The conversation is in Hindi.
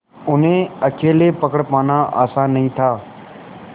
उन्हें अकेले पकड़ पाना आसान नहीं था